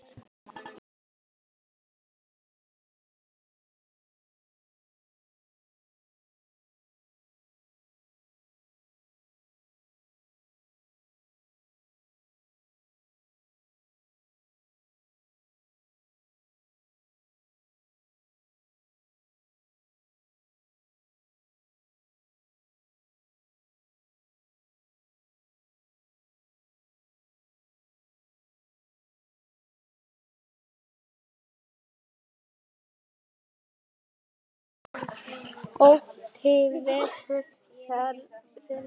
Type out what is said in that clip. Ótti vegur þar þungt.